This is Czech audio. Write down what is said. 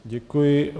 Děkuji.